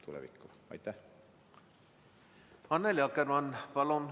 Annely Akkermann, palun!